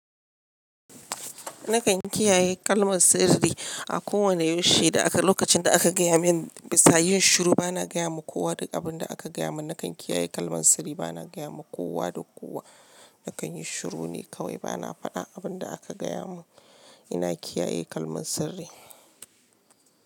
Nakan kiyaye kalmar sirri a kowane yashi da aka, lokacin da aka gaya min. biSa yin shiru bana gaya wa kowa duk abin da aka gaya mun. Nakan kiyaye kalmar sirri bana gaya ma kowa da kowa. Nakan yi shiru ne kawai bana faɗan abin da aka gaya mun. Ina kiyaye kalmar sirri.